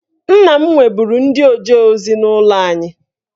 Nna m nweburu ndị oje ozi n'ụlọ anyị